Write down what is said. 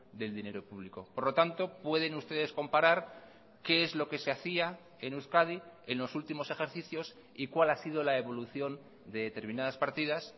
del dinero público por lo tanto pueden ustedes comparar qué es lo que se hacía en euskadi en los últimos ejercicios y cuál ha sido la evolución de determinadas partidas